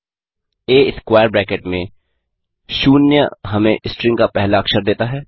आ square bracket में शून्य हमें स्ट्रिंग का पहला अक्षर देता है